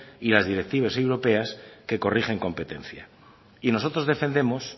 y directivas europeas que corrigen competencias nosotros defendemos